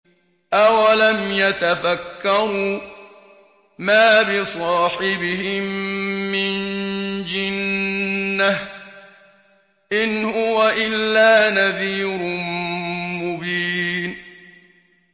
أَوَلَمْ يَتَفَكَّرُوا ۗ مَا بِصَاحِبِهِم مِّن جِنَّةٍ ۚ إِنْ هُوَ إِلَّا نَذِيرٌ مُّبِينٌ